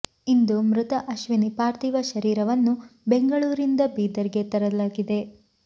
ಇಂದು ಮೃತ ಅಶ್ವಿನಿ ಪಾರ್ಥಿವ ಶರೀರವನ್ನು ಬೆಂಗಳೂರಿನಿಂದ ಬೀದರ್ ಗೆ ತರಲಾಗಿದೆ